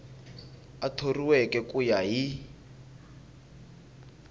a thoriweke ku ya hi